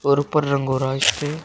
और ऊपर रंग हो रहा है इसपे।